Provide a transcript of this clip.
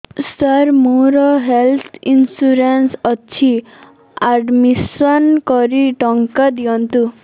ସାର ମୋର health insurance ଅଛି admission କରି ଟଙ୍କା ଦିଅନ୍ତୁ